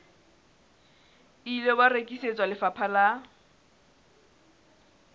ile wa rekisetswa lefapha la